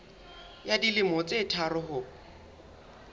ya dilemo tse tharo ho